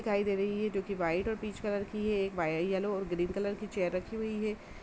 दिखाई दे रही है जो कि वाइट और पीच कलर की है। एक वाई यलो और ग्रीन कलर की चेयर रखी हुई है।